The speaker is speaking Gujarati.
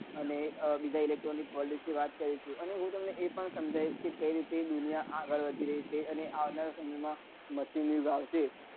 અને બીજા electronic world વિશે વાત કરીશું અને હું તમને એ પણ સમ્માંજ્વીસ કે કઈ રીતે દુનિયા આગળ વધી રહી છે અને આવનારા સમય માં machine યુગ આવશે